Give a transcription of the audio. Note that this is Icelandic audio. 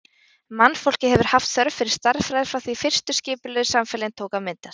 Mannfólkið hefur haft þörf fyrir stærðfræði frá því fyrstu skipulögðu samfélögin tóku að myndast.